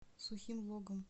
сухим логом